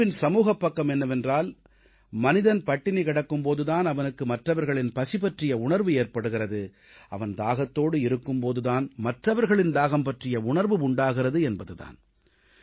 நோன்பின் சமூகப் பக்கம் என்னவென்றால் மனிதன் பட்டினி கிடக்கும் போது தான் அவனுக்கு மற்றவர்களின் பசி பற்றிய உணர்வு ஏற்படுகிறது அவன் தாகத்தோடு இருக்கும் போது தான் மற்றவர்களின் தாகம் பற்றிய உணர்வு உண்டாகிறது என்பது தான்